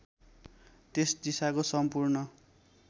त्यस दिशाको सम्पूर्ण